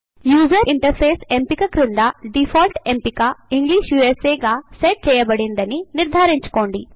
user interface ఎంపిక కింద default ఎంపిక ఇంగ్లిష్ యూఎస్ఏ గా సెట్ చెయ్యబడిందని నిర్ధారించుకోండి